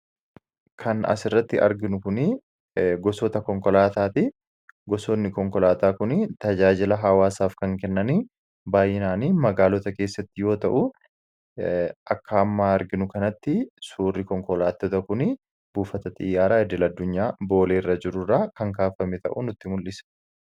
kan as irratti arginu kunii gosoota konkolaataa ti gosoonni konkolaataa kuni tajaajila hawaasaaf kan kennanii baayyinaanii magaalota keessatti yoo ta'u akkaammaa arginu kanatti suurri konkolaatota kun buufata xiyyaaraa idil addunyaa booleerra jiru irraa kan kaafame ta'uu nutti mul'isa.